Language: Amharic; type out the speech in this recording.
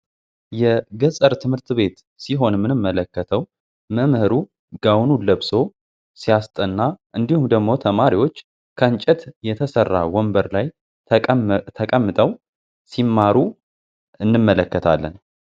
የገጠር ትምህርት ቤት ሲሆን ምንምመለከተው መምህሩ ጋውኑ ለብሶ ሲያስጠና እንዲሁም ደግሞ ተማሪዎች ከንጨት የተሠራ ወንበር ላይ ተቀምጠው ሲማሩ እንመለከታለን።